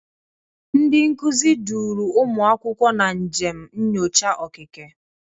Ndị nkuzi duuru ụmụ akwụkwọ na njem nyocha okike.